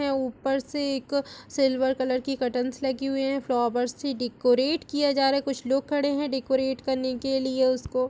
ऊपर से एक सिल्वर कलर की कर्टन्स लगी हुई है फ्लावर्स से डेकोरेट किया जा रहा हैकुछ लोग खड़े हैडेकोरेट करने के लिए इसको।